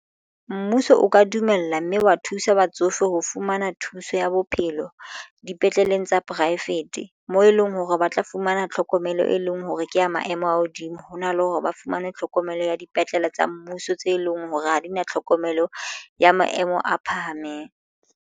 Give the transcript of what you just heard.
Mmuso o ka dumela mme wa thusa batsofe ho fumana thuso ya bophelo dipetleleng tsa poraefete moo eleng hore ba tla fumana tlhokomelo e leng hore ke ya maemo a hodimo hona le hore ba fumane tlhokomelo ya dipetlele tsa mmuso tse leng hore ha di na tlhokomelo ya maemo a phahameng.